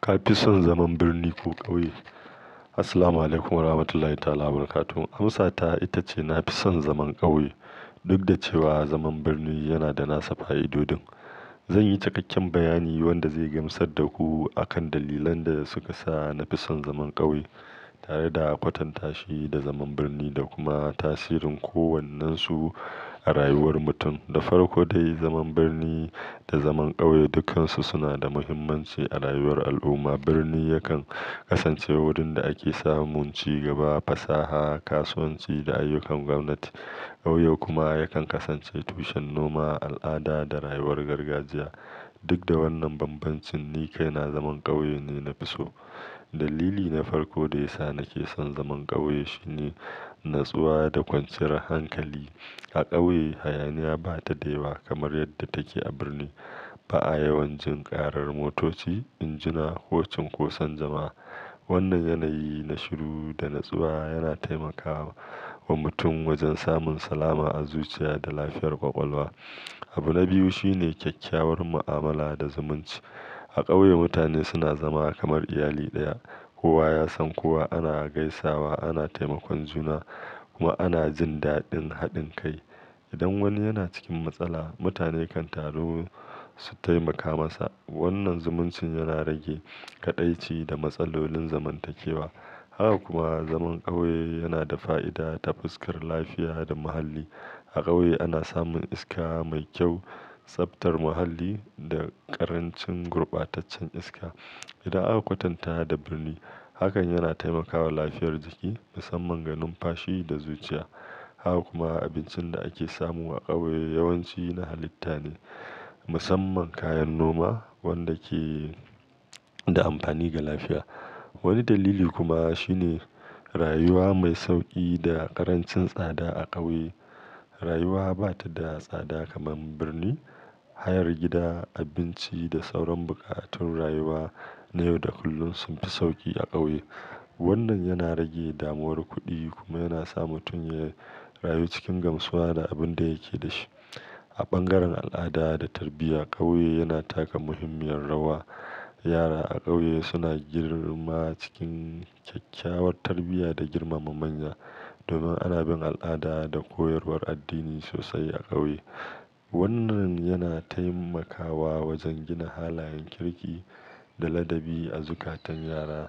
Ka fi son zaman birni ko ƙauye? Assalamualaikum warahmatullahi wabarakatuh. Amsa ta ita ce na fi son zaman ƙauye. Duk da cewa zaman birni yana da nasa fa'idodin. Zan yi cikakken bayani wanda zai gamsar da ku akan dalilan da suka sa na fi son zaman ƙauye, tare da kwatanta shi da zaman birni da kuma tasirin kowannensu a rayuwar mutum. Da farko dai, zaman birni da zaman ƙauye dukkansu suna da muhimmanci a rayuwar al'umma. Birni yakan kasance wurin da ake samun ci gaba, fasaha, kasuwanci da ayyukan gwamnati. Ƙauye kuma yakan kasance tushen noma, al'ada da rayuwar gargajiya. Duk da wannan bambancin, ni kai na zaman ƙauye ne na fi so. Dalili na farko da ya sa nake son zaman ƙauye shine natsuwa da kwanciyar hankali. A ƙauye, hayaniya ba ta da yawa kamar yadda take a birni. Ba a yawan jin karar motoci, injina ko cinkosan jama'a. Wannan yanayi na shiru da natsuwa yana taimakawa wa mutum wajen samun salama a zuciya da lafiyar ƙwaƙwalwa. Abu na biyu shine kyakkyawar mu'amala da zumunci. A ƙauye, mutane suna zama kamar iyali ɗaya. Kowa ya san kowa, ana gaisawa, ana taimakon juna kuma, ana jin daɗin haɗin kai. Idan wani yana cikin matsala, mutane kan taru su taimaka masa. Wannan zumuncin yana rage kaɗaici da matsalolin zamantakewa. Haka kuma zaman ƙauye yana da fa'ida ta fuskar lafiya da muhalli. A ƙauye, ana samun iska mai kyau, tsabtar muhalli da ƙarancin gurbataccen iska idan aka kwatantawa da birni. Hakan yana taimakawa lafiyar jiki, musamman ga numfashi da zuciya. Haka kuma abincin da ake samu a ƙauye yawanci na halitta ne, musamman kayan noma, wanda ke da amfani ga lafiya. Wani dalili kuma shine rayuwa mai sauƙi da ƙarancin tsada a ƙauye. Rayuwa ba ta da tsada kamar birni. Hayar gida, abinci da sauran buƙatun rayuwa na yau da kullum sun fi sauƙi a ƙauye. Wannan yana rage damuwar kuɗi kuma yana sa mutum ya rayu cikin gamsuwa da abin da yake da shi. A bangaren al'ada da tarbiyya, ƙauye yana taka muhimmiyar rawa. Yara a ƙauye suna girma cikin kyakkyawar tarbiyya da girmama manya. Domin ana bin al'ada da koyarwar addini sosai a ƙauye. Wannan yana taimakawa wajen gina halayen kirki da ladabi a zukatan yara.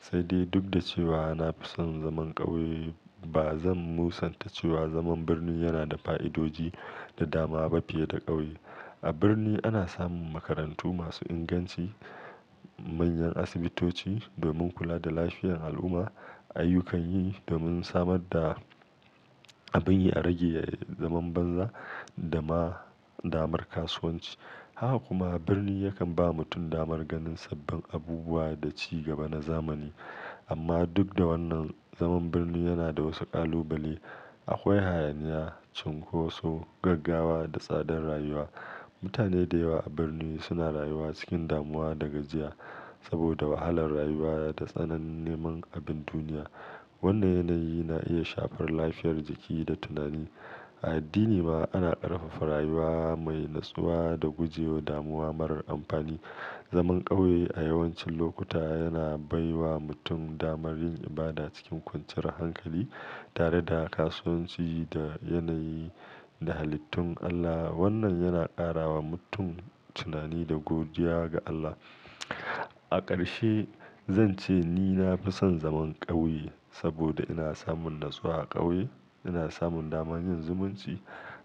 Sai dai duk da cewa na fi son zaman ƙauye, ba zan musanta cewa zaman birni yana da fa'idodi da dama ba fiye da ƙauye. A birni ana samun makarantu masu inganci, manyan asibitoci domin kula da lafiyar al'umma, ayyukan yi domin samar da abin yi a rage zaman banza da ma damar kasuwanci. Haka kuma birni yakan ba mutum damar ganin sabbin abubuwa da ci gaba na zamani. Amma duk da wannan, zaman birni yana da wasu kalubale. Akwai hayaniya, cinkoso, gaggawa da tsadar rayuwa. Mutane da yawa a birni suna rayuwa cikin damuwa da gajiya saboda wahalar rayuwa da tsanani niman abin duniya. Wannan yanayi na iya shafar lafiyar jiki da tunani. A addini ma ana ƙarfafa rayuwa mai natsuwa da gujewa damuwa marar amfani. Zaman ƙauye a yawancin lokuta yana bai wa mutum damar yin ibada cikin kwanciyar hankali, tare da kasuwanci da yanayi da halittun Allah. Wannan yana ƙara wa mutum tunani da godiya ga Allah. A ƙarshe, zan ce ni na fi son zaman ƙauye saboda ina samun natsuwa a ƙauye, ina samun daman yin zumunci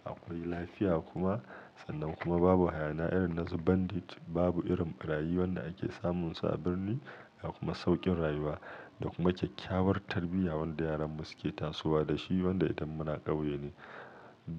akwai lafiya kuma sannan kuma babu hayaniya irin na su bandit, babu irin ɓarayi wanda ake samun su a birni, akwai kuma sauƙin rayuwa da kuma kyakkyawar tarbiyya wanda yaran mu suke tasowa da shi wanda ita muna ƙauye ne.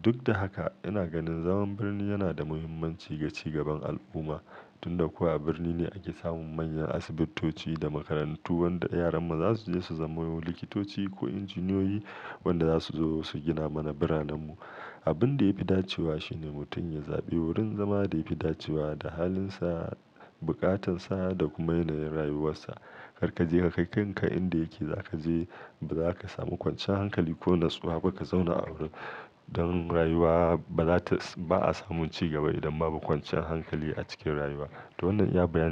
Duk da haka, ina ganin zaman birni yana da muhimmanci ga ci gaban al'umma. Tun da kuwa a birni ne ake samun manyan asibitoci da makarantu wanda yaran mu za su je su zamo likitoci ko injiniyoyi wanda za su zo su gina mana biranen mu. Abin da ya fi dacewa shi ne mutum ya zaɓi wurin zama da ya fi dacewa da halinsa, bukatansa da kuma yanayin rayuwarsa. Kar ka je ka kai kanka inda yake za ka je, ba za ka samu kwancan hankali ko natsuwa ba ka zauna a wurin don rayuwa ba za tas, ba a samun ci gaba idan babu kwancan hankali a cikin rayuwa. To wannan ya baya.